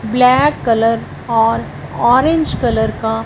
black colour और orange colour का--